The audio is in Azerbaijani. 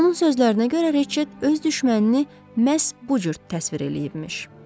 Onun sözlərinə görə Reçet öz düşmənini məhz bu cür təsvir eləyibmiş.